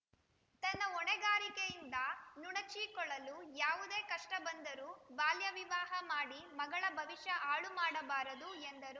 ತನ್ನ ಹೊಣೆಗಾರಿಕೆಯಿಂದ ನುಣಚಿಕೊಳ್ಳಲು ಯಾವುದೇ ಕಷ್ಟ ಬಂದರು ಬಾಲ್ಯ ವಿವಾಹ ಮಾಡಿ ಮಗಳ ಭವಿಷ್ಯ ಹಾಳು ಮಾಡಬಾರದು ಎಂದರು